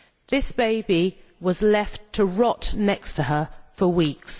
This baby was left to rot next to her for weeks.